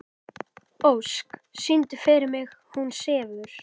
Ósk, syngdu fyrir mig „Hún sefur“.